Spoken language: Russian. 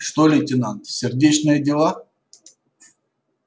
что лейтенант сердечные дела